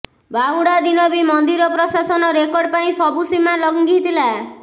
ବାହୁଡା ଦିନ ବି ମନ୍ଦିର ପ୍ରଶାସନ ରେକର୍ଡ ପାଇଁ ସବୁ ସୀମା ଲଂଘିଥିଲା